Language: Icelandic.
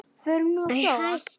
Förum nú að sofa.